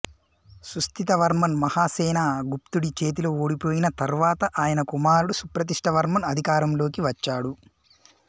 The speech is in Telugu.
సుస్థితవర్మన్ మహాసేనగుప్తుడి చేతిలో ఓడిపోయిన తరువాత ఆయన కుమారుడు సుప్రతిష్ఠివర్మన్ అధికారంలోకి వచ్చాడు